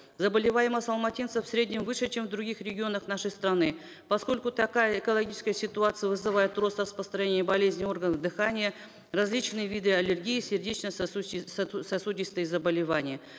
заболеваемость алматинцев в среднем выше чем в других регионах нашей страны поскольку такая экологическая ситуация вызывает рост распространения болезней органов дыхания различные виды аллергии сердечно сосудистые заболевания